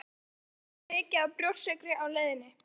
Ég borðaði svo mikið af brjóstsykri á leiðinni